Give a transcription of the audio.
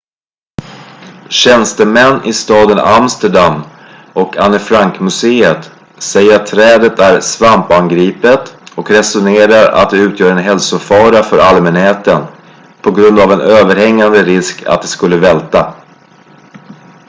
tjänstemän i staden amsterdam och anne frank-museet säger att trädet är svampangripet och resonerar att det utgör en hälsofara för allmänheten på grund av en överhängande risk att det skulle välta